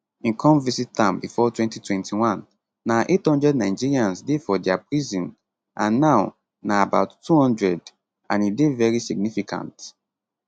im come visit am before 2021 na 800 nigerians dey for dia prison and now na about 200 and e dey very significant